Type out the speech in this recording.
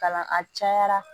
Ka na a cayara